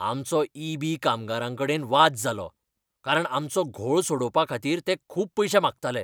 आमचो E. B. कामगारांकडेन वाद जालो, कारण आमचो घोळ सोडोवपाखातीर ते खूब पयशे मागताले.